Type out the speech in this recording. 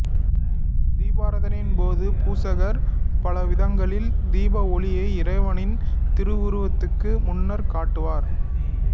தீபாரதனையின்போது பூசகர் பலவிதங்களில் தீப ஒளியை இறைவனின் திருவுருவத்துக்கு முன்னர் காட்டுவார்